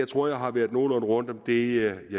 tror jeg har været nogenlunde rundt om det